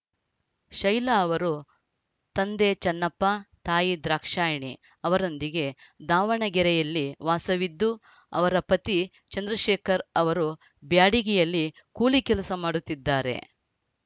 ಶೈಲಾ ಅವರು ತಂದೆ ಚನ್ನಪ್ಪ ತಾಯಿ ದ್ರಾಕ್ಷಾಯಣಿ ಅವರೊಂದಿಗೆ ದಾವಣಗೆರೆಯಲ್ಲೇ ವಾಸವಿದ್ದು ಅವರ ಪತಿ ಚಂದ್ರಶೇಖರ್‌ ಅವರು ಬ್ಯಾಡಗಿಯಲ್ಲಿ ಕೂಲಿ ಕೆಲಸ ಮಾಡುತ್ತಿದ್ದಾರೆ